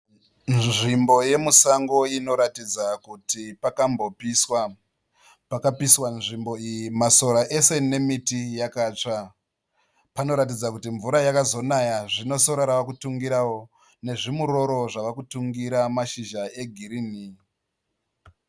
Nzvimbo yemusango inoratidza kuti pakambopiswa. Pakapiswa nzvimbo iyi masora ese nemiti yakatsva. Panoratidza kuti mvura yakazonaya zvino sora ravakutungirao nezvimuroro zvava kutungira mashizha egirini.